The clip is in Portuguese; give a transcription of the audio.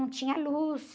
Não tinha luz.